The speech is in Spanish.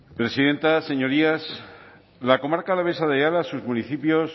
presidenta señorías la comarca alavesa de ayala y sus municipios